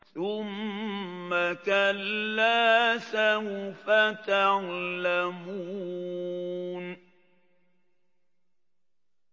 ثُمَّ كَلَّا سَوْفَ تَعْلَمُونَ